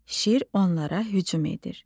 Şir onlara hücum edir.